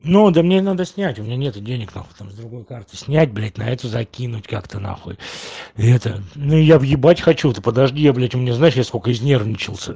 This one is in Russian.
ну да мне надо снять у меня нету денег нахуй там с другой карты снять блять на эту закинуть как-то нахуй это ну я въебать хочу ты подожди я блять у меня знаешь я сколько изнервничался